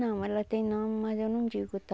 Não, ela tem nome, mas eu não digo, tá?